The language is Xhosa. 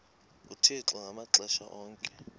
uthixo ngamaxesha onke